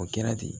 O kɛra ten